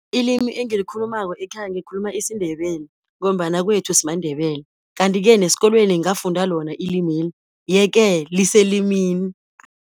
Ilimi engilikhulumako ekhaya ngikhuluma isiNdebele, ngombana kwethu simaNdebele, kanti-ke nesikolweni ngafunda lona ilimeli, ye-ke liselimini.